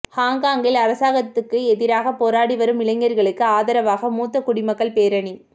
ஹாங்காங்கில் அரசாங்கத்துக்கு எதிராகப் போராடி வரும் இளையர்களுக்கு ஆதரவாக மூத்த குடிமக்கள் பேரணி